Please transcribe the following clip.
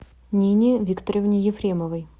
нине викторовне ефремовой